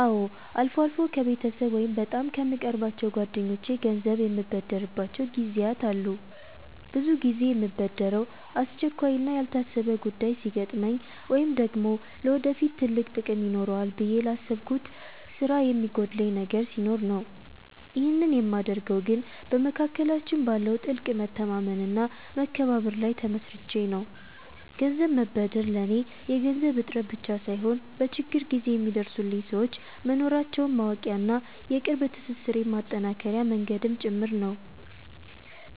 አዎ፣ አልፎ አልፎ ከቤተሰብ ወይም በጣም ከምቀርባቸው ጓደኞቼ ገንዘብ የምበደርባቸው ጊዜያት አሉ። ብዙ ጊዜ የምበደረው አስቸኳይና ያልታሰበ ጉዳይ ሲገጥመኝ ወይም ደግሞ ለወደፊት ትልቅ ጥቅም ይኖረዋል ብዬ ላሰብኩት ስራ የሚጎድለኝ ነገር ሲኖር ነው። ይህንን የማደርገው ግን በመካከላችን ባለው ጥልቅ መተማመንና መከባበር ላይ ተመስርቼ ነው። ገንዘብ መበደር ለኔ የገንዘብ እጥረት ብቻ ሳይሆን፣ በችግር ጊዜ የሚደርሱልኝ ሰዎች መኖራቸውን ማወቂያና የቅርብ ትስስሬን ማጠናከሪያ መንገድም ጭምር ነው።